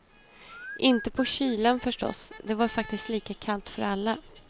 Inte på kylan förstås, det var faktiskt lika kallt för alla.